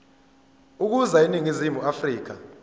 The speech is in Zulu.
ukuza eningizimu afrika